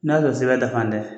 N'a sɔrɔ sɛbɛn dafan dɛ!